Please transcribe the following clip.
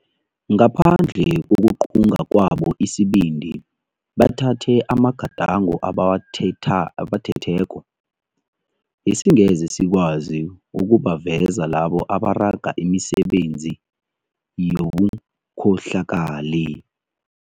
Ngaphandle kokuqunga kwabo isibindi bathathe amagadango abawathetheko, besingeze sikwazi ukubaveza labo abaraga imisebenzi yobukhohlakali.